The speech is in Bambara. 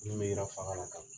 Min bɛ yira faga la.